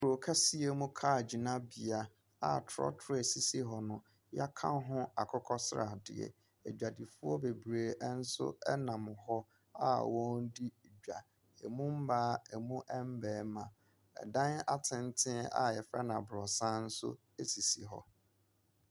Kuro kɛseɛ mu car gyinabea a trɔtrɔ a ɛsisi hɔ no, yɛaka ho akokɔsradeɛ. Adwadifoɔ bebree nso nam hɔ a wɔredi dwa. Emu mmaa, emu mmarima. Ɛdan atenten a yɛfrɛ no abrɔsan nso sisi hɔ.